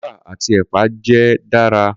Kukumba ati epa jẹ dara.